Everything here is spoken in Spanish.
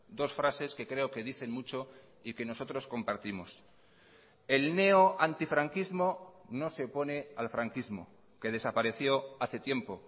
dos frases que creo que dicen mucho y que nosotros compartimos el neoantifranquismo no se opone al franquismo que desapareció hace tiempo